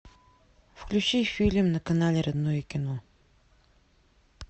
включи фильм на канале родное кино